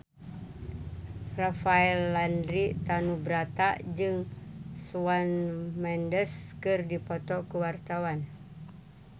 Rafael Landry Tanubrata jeung Shawn Mendes keur dipoto ku wartawan